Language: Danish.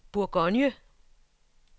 Bourgogne